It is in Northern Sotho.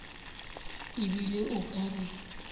e bile o ka re